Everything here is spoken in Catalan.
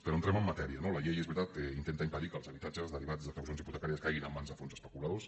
però entrem en matèria no la llei és veritat que intenta impedir que els habitatges derivats d’execucions hipotecàries caiguin en mans de fons especuladors